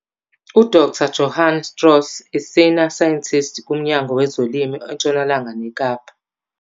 U-Dr Johann Strauss, i-Senior Scientist, kuMnyango wezoLimo eNtshonalanga neKapa.